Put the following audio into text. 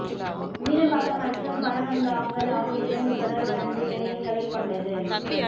மீனம்பாக்கம் மற்றும் பழவந்தாங்கல் ஆகிய இரண்டு தொடர்வண்டி நிலையங்களை கொண்டது